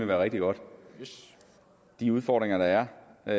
være rigtig godt de udfordringer der er